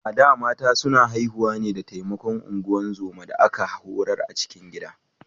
A da, mata suna haihuwa ne da taimakon ungozoma da aka horar a cikin gida.